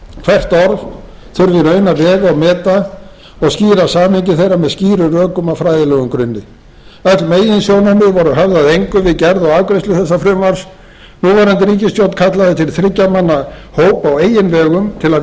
hvert orð þurfi í raun að vega og meta og skýra samhengi þeirra með skýrum rökum á fræðilegum grunni öll meginsjónarmið voru höfð að engu við gerð og afgreiðslu þessa frumvarps núverandi ríkisstjórn kallaði til þriggja manna hóp á eigin vegum til að